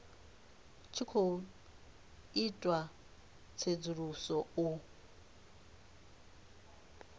tshi khou itiwa tsedzuluso u